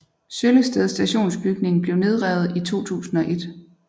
Søllested stationsbygning blev nedrevet i 2001